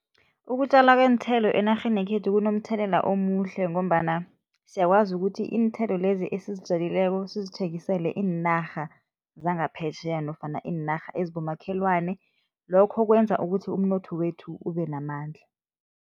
Ukutjalwa kweenthelo enarheni yekhethu kunomthelela omuhle ngombana siyakwazi ukuthi iinthelo lezi esizitjalileko sizithengisele iinarha zangaphetjheya nofana iinarha ezibomakhelwana, lokho kwenza ukuthi umnotho wethu ube namandla.